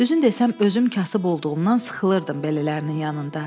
Düzün desəm, özüm kasıb olduğumdan sıxılırdım belələrinin yanında.